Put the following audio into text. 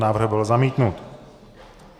Návrh byl zamítnut.